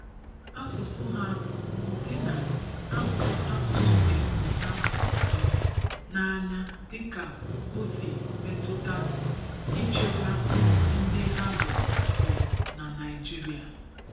Ásùsù ha n'ùdị na ha hụrụ ásùsù epum ha um n'ányá dịka ọ sị metụta ịchékwà ndị ha bụ bụ na Naịjiria.